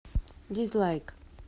дизлайк